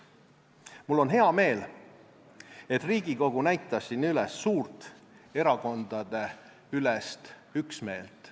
Mul on hea meel, et Riigikogu näitas siin üles suurt erakondadeülest üksmeelt.